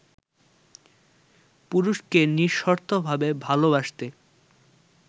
পুরুষকে নিঃশর্তভাবে ভালোবাসতে